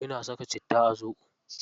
Ina saka citta a zoɓo.